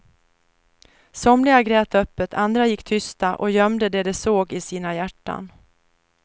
Somliga grät öppet, andra gick tysta och gömde det de såg i sina hjärtan.